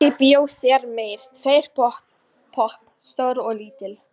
Kannski bíó síðar meir, tveir popp, stór og lítill.